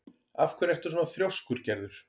Af hverju ertu svona þrjóskur, Gerður?